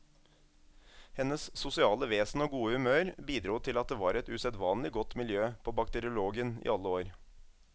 Hennes sosiale vesen og gode humør bidro til at det var et usedvanlig godt miljø på bakteriologen i alle år.